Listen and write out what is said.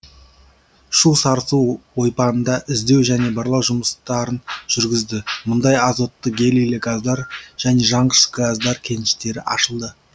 шу сарысу ойпаңында іздеу және барлау жұмыстарын жүргізді мұнда азотты гелийлі газдар және жанғыш газдар кеніштері ашылды